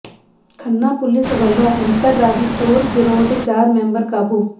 Khanna police ਵੱਲੋਂ ਅੰਤਰਰਾਜੀ ਚੋਰ ਗਿਰੋਹ ਦੇ ਚਾਰ ਮੈਂਬਰ ਕਾਬੂ